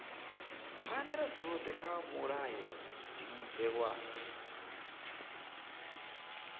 pfanelo dzothe kha mulayotibe wa